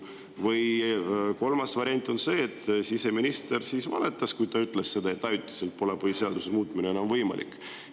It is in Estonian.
Või kolmas variant: siseminister valetas, kui ta ütles, et ajaliselt pole põhiseaduse muutmine enam võimalik.